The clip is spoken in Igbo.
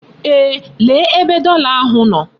Eeh, lee ebe dollar ahụ nọ.